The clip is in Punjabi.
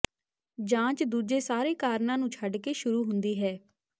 ਜਾਂਚ ਦੂਜੇ ਸਾਰੇ ਕਾਰਨਾਂ ਨੂੰ ਛੱਡ ਕੇ ਸ਼ੁਰੂ ਹੁੰਦੀ ਹੈ